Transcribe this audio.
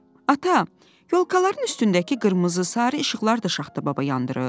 "Ata, yolkaların üstündəki qırmızı-sarı işıqlar da Şaxta baba yandırıb?"